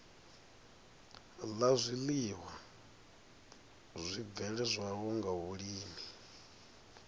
la zwiiwa zwibveledzwaho nga vhulimi